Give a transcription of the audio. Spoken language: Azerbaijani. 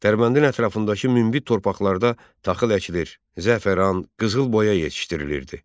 Dərbəndin ətrafındakı münbit torpaqlarda taxıl əkilir, zəfəran, qızıl boya yetişdirilirdi.